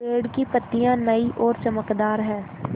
पेड़ की पतियां नई और चमकदार हैँ